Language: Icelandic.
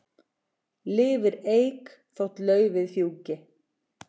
Lifir eik þótt laufið fjúki.